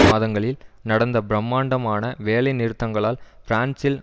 மாதங்களில் நடந்த பிரமாண்டமான வேலை நிறுத்தங்களால் பிரான்சில்